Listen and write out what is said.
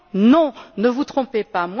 Non, ne vous trompez pas.